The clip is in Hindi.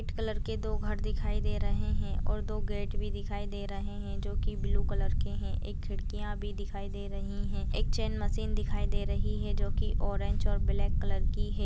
कलर के दो घर दिखाई दे रहे हैं और दो गेट भी दिखाई दे रहे हैं जो कि ब्लू कलर के हैं। एक खिड़कियाँ भी दिखाई दे रही हैं। एक चेन मशीन दिखाई दे रही है जो कि ऑरेंज और ब्लैक कलर की है।